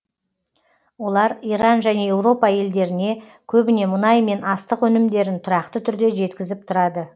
олар иран және еуропа елдеріне көбіне мұнай мен астық өнімдерін тұрақты түрде жеткізіп тұрады